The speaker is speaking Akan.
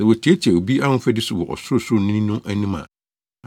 sɛ wotiatia obi ahofadi so wɔ Ɔsorosoroni no anim a,